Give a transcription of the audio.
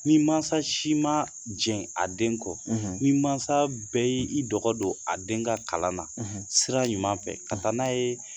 Ni mansa si ma jɛn a den kɔ ni mansa bɛɛ y' i dɔgɔ don a den ka kalan na sira ɲuman fɛ ka taa n'a ye